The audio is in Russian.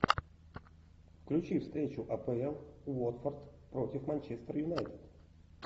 включи встречу апл уотфорд против манчестер юнайтед